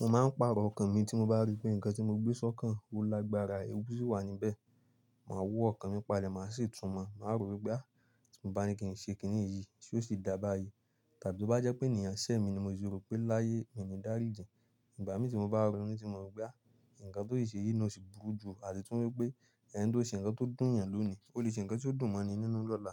Mo máa ń pàrọ̀ ọkàn mi tí mo bá rí pé nǹkan tí mo gbé sọ́kàn o lágbára, ewu sì wà níbẹ̀. Màá wó ọkàn mi pale, màá sì tún mọ̀, màá rò wípé á ti mo bá ní kí n ṣe kìní ìyí, ṣé ó sì dà bàyìí? Tàbí bí ó bá jẹ́ pé ènìyàn ṣẹ̀ mi ni mo sì rò pé láyé mi ni ìdáríjì. Ìgbà mi tí mo bá rònú tí mo rò wípé a ǹkan tó si ṣe yi náà o sì burú ju àti tún wípé ẹni tó ṣe ǹkan tó dùn'yan lónìí, ó lè ṣe ǹkan tó dùn mọ́ni nínú lọ́la.